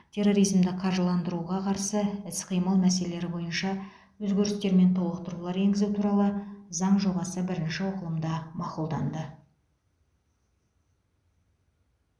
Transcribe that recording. терроризмді қаржыландыруға қарсы іс қимыл мәселелері бойынша өзгерістер мен толықтырулар енгізу туралы заң жобасы бірінші оқылымда мақұлданды